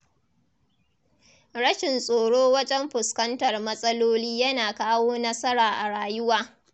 Rashin tsoro wajen fuskantar matsaloli yana kawo nasara a rayuwa.